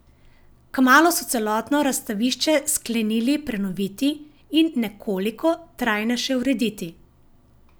Kmalu so celotno razstavišče sklenili prenoviti in nekoliko trajnejše urediti.